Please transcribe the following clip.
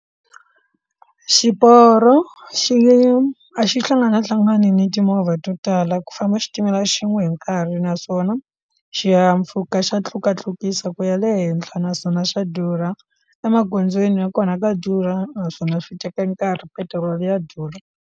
Xiporo xi nga a xi hlanganahlangana ni timovha to tala ku famba xitimela xin'we hi nkarhi naswona xihahampfhuka xa tlukwa tlukwisa ku ya le henhla naswona xa durha emagondzweni ha kona ka durha naswona swi teka nkarhi petiroli ya durha.